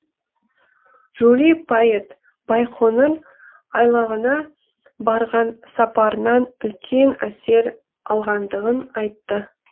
жули пайет байқоңыр айлағына барған сапарынан үлкен әсер алғандығын айтты